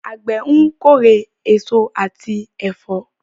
Àgbẹ̀ ń kórè èso àti ẹ̀fọ́.